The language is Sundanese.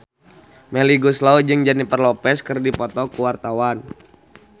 Melly Goeslaw jeung Jennifer Lopez keur dipoto ku wartawan